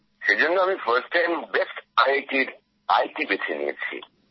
সেজন্য আমি প্রথম বার বেস্ট আই আই টির তথ্য প্রযুক্তি বেছে নিয়েছি